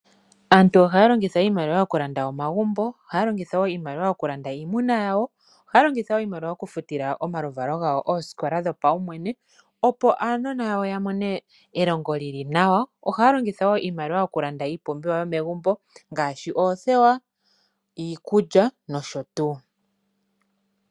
Aantu ohaya longitha iimaliwa oku landa omagumbo, ohaya longitha woo iimaliwa iimuna yawo, ohaya longitha iimaliwa oku futila omaluvalo gawo oosikola dhopaumwene opo aanona yawo ya mone elongo lyili nawa, ohaya longitha woo iimaliwa oku landa iipumbiwa yomegumbo ngaashi oothewa, iikulya nosho tuu.